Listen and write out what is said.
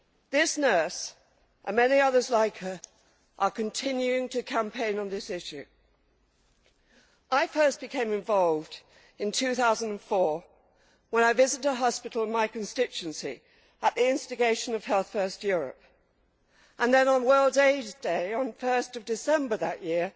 This nurse, and many others like her, are continuing to campaign on this issue. I first became involved in 2004 when I visited a hospital in my constituency at the instigation of Health First Europe, and then on World Aids Day on 1 December that year